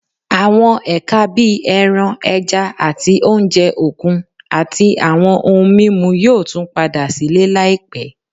Àwọn ẹ̀ka bí ẹran, ẹja, àti oúnjẹ òkun, àti àwọn ohun mímu, yóò tún padà sílé láìpẹ́